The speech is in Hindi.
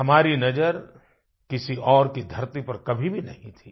हमारी नज़र किसी और की धरती पर कभी भी नहीं थी